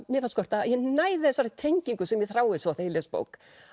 mér skorta að ég næði þessari tengingu sem ég þrái svo þegar ég les bók